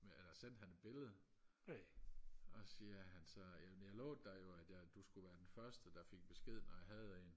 eller sendte han et billede og siger altså jamen jeg lovede dig jo at du skulle være den første der fik besked når jeg havde en